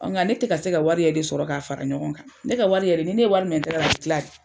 nga ne tɛ ka se ka wari yɛrɛ de sɔrɔ k'a fara ɲɔgɔn kan. Ne ka wari yɛrɛ ni ne ye wari minɛ n tigɛra a bɛ kila de.